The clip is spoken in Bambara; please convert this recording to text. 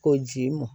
Ko ji m